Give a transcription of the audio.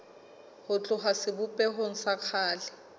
ho tloha sebopehong sa kgale